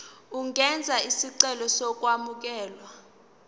ungenza isicelo sokwamukelwa